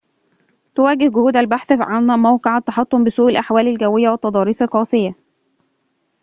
تُواجَه جهود البحث عن موقع التحطم بسوء الأحوال الجوية والتضاريس القاسية